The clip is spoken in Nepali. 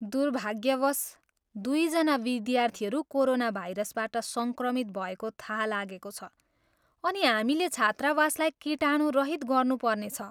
दुर्भाग्यवश, दुईजना विद्यार्थीहरू कोरोना भाइरसबाट सङ्क्रमित भएको थाहा लागेको छ, अनि हामीले छात्रावासलाई कीटाणुरहित गर्नुपर्नेछ।